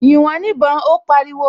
"Yìn wọ́n níbọn", Ó pariwo